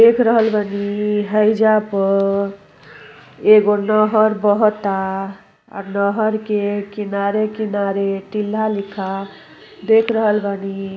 देख रहल बानी हइजा पर एगो नहर बहअताआ नहर के किनारे-किनारे टिल्हा लिखा देख रहल बानी।